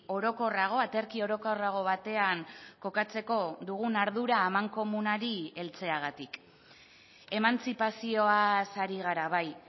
orokorrago aterki orokorrago batean kokatzeko dugun ardura amankomunari heltzeagatik emantzipazioaz ari gara bai